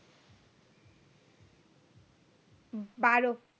বারো